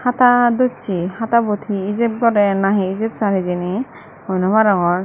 hada docchey hatabot he ijeb gorer na he ijeb sar hijeni hoi noarongor.